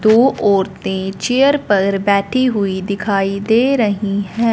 दो औरतें चेयर पर बैठी हुई दिखाई दे रही हैं।